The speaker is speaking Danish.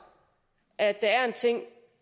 at der er en ting